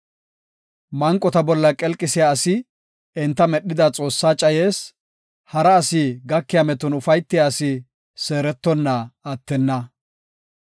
Manqota bolla qelqisiya asi enta medhida Xoossaa cayees; hara asi gakiya meton ufaytiya asi seerettonna attenna.